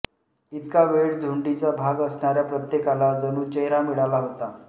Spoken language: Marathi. इतका वेळ झुंडीच्या भाग असणाऱ्या प्रत्येकाला जणू चेहरा मिळाला होता